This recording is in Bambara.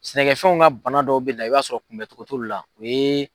Sɛnɛkɛfɛnw ka bana dɔw bɛ na i b'a sɔrɔ kunbɛ cogo t'olu la o ye